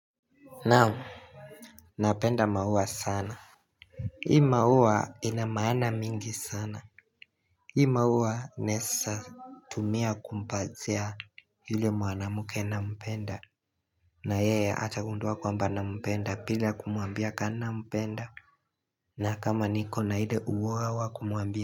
Nao Napenda maua sana Hii maua ina maana mingi sana Hii maua inesa tumia kumbazia hile muanamuke na mpenda na yeye atagunduwa kwamba nampenda bila kumuambiaka na mpenda na kama niko na ile uwa wakumuambi.